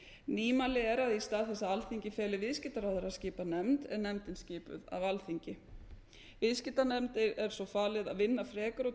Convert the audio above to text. nýmæli er að í stað þess að alþingi feli viðskiptaráðherra að skipa nefnd er nefndin skipuð af alþingi viðskiptanefnd er svo falið að vinna frekar úr